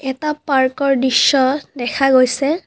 এটা পাৰ্কৰ দৃশ্য দেখা গৈছে।